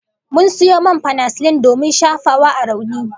Mun sayo man fanasilin domin shafawa a rauni